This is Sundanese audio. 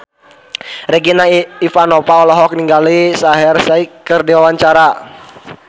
Regina Ivanova olohok ningali Shaheer Sheikh keur diwawancara